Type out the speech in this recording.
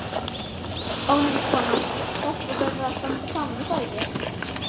Ónefnd kona: Stelpur verða að standa saman, er það ekki?